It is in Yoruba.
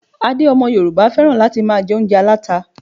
Adé ọmọ Yorùbá féràn láti máa jẹ oúnjẹ aláta.